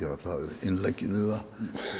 það er innleggið í það